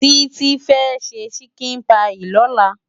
Titi fe ṣè ṣikin páyi lòlá